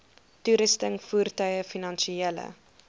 toerusting voertuie finansiële